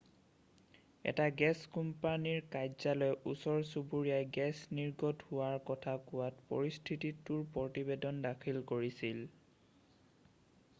এটা গেছ কোম্পানীৰ কাৰ্যালয়ে ওচৰ-চুবুৰীয়াই গেছ নিৰ্গত হোৱাৰ কথা কোৱাত পৰিস্থিতিটোৰ প্ৰতিবেদন দাখিল কৰিছিল